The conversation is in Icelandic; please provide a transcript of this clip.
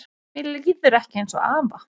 Mér líður ekki eins og afa